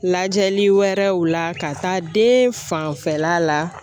Lajɛli wɛrɛw la ka taa den fanfɛla la